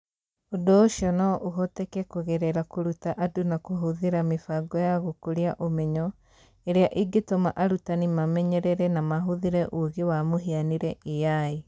Ũndũ ũcio no ũhoteke kũgerera kũruta andũ na kũhũthĩra mĩbango ya gũkũria ũmenyo ĩrĩa ĩngĩtũma arutani mamenyerere na mahũthĩre ũũgĩ wa mũhianĩre(AI).